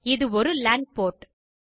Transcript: இது ஒரு LAN board